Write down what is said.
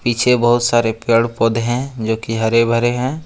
पीछे बहुत सारे पेड़ पौधे हैं जो की हरे भरे हैं।